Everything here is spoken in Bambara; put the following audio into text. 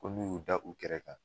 Ko n'u y'u da u kɛra kan